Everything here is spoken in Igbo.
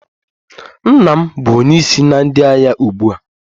Nna m bụ onye isi na ndị agha ugbu a.